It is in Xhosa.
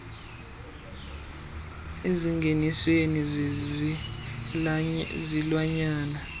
aneempawu ezingeniswe zizilwanyana